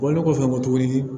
Bɔlen kɔfɛ n ko tuguni